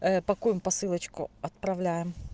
пакуем посылочку отправляем